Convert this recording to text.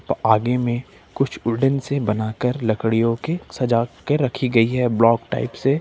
आगे में कुछ गोल्डन से बनाकर लड़कियों के सजा के रखी गई है ब्लॉक टाइप से--